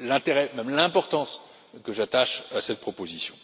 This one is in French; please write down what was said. l'intérêt, et même l'importance, que j'attache à cette proposition.